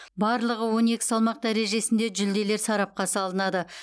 барлығы он екі салмақ дәрежесінде жүлделер сарапқа салынады